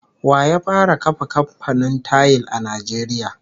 Wa ya fara kafa kamfanin tayil a Najeriya?